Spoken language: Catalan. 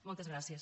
moltes gràcies